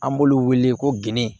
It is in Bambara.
An b'olu wele ko ginde